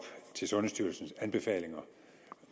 til sundhedsstyrelsens anbefalinger